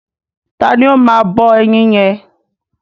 Ta ni ó máa bọ ẹyin yẹn?